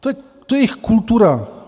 To je jejich kultura.